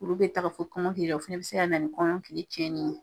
Olu bɛ ta k'a fɔ ko kɔnkɔ bɛ kɛ la, o fana bɛ se ka na ni kɔmɔ kili cɛni ye.